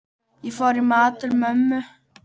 Ég fór í mat til mömmu.